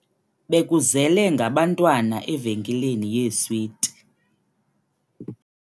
Bekuzele ngabantwana evenkileni yeeswiti.